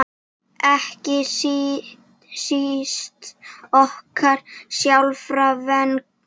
Ekki síst okkar sjálfra vegna.